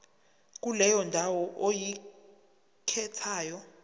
kuleyo ndawo oyikhethayo